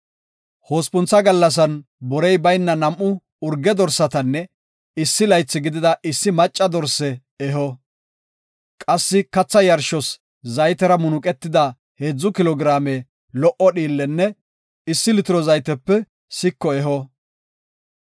Hospuntha gallasan borey bayna nam7u urge dorsatanne issi laythi gidida issi macca dorse eho. Qassi katha yarshos zaytera munuqetida heedzu kilo giraame lo77o dhiillenne issi litiro zaytepe siko eho.